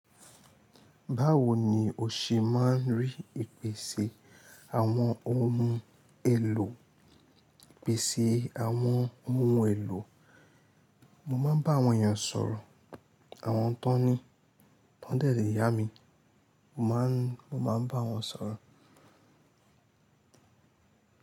Báwo ni o ṣe máa ń rí ìpèsè àwọn ohun èlò, ìpèsè àwọn ohun èlò? Mo maa n ba awon eeyan soro, awon tan ni tan de le yami, mo maa n, mo maa n ba won soro.